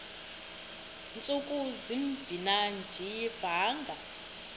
ntsuku zimbin andiyivanga